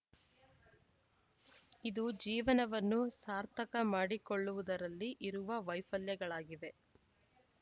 ಇದು ಜೀವನವನ್ನು ಸಾರ್ಥಕ ಮಾಡಿಕೊಳ್ಳುವುದರಲ್ಲಿ ಇರುವ ವೈಫಲ್ಯಗಳಾಗಿವೆ